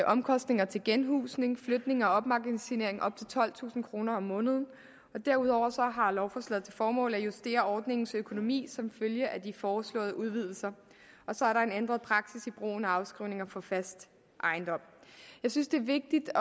omkostninger til genhusning flytning og opmagasinering på op til tolvtusind kroner om måneden derudover har lovforslaget til formål at justere ordningens økonomi som følge af de foreslåede udvidelser og så er der en ændret praksis i brugen af afskrivninger på fast ejendom jeg synes det er vigtigt